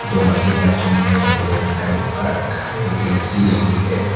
दो मशीन रखी है एक नीले रंग का डिब्बा रखा है ए_सी लगी है।